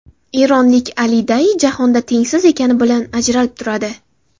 Eronlik Ali Dayi jahonda tengsiz ekani bilan ajralib turadi.